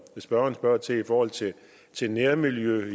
spørgeren spørger til i forhold til til nærmiljø